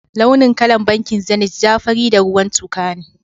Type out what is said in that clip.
Launin kalan bankin Zenith ja ,fari, da ruwan tuka ne.